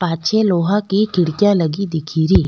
पाछे लोहा की खिड़कियां लगी दीख री।